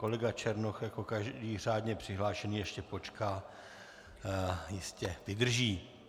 Kolega Černoch jako každý řádně přihlášený ještě počká, jistě vydrží.